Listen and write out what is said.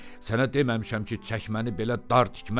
Sənə deməmişəm ki, çəkməni belə dar tikməzlər?